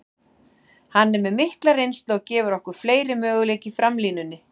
Hann er með mikla reynslu og gefur okkur fleiri möguleika í framlínunni.